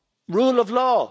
rule of law.